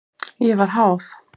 Ég var háð.